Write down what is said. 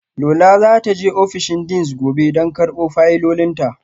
Lola za ta je ofishin deans gobe don karbo fayilolinta